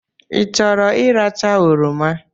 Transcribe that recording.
I chọrọ ị racha oroma?